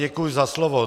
Děkuji za slovo.